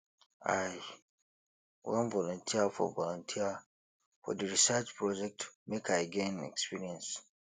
i wan volunteer for volunteer for di research project make i gain experience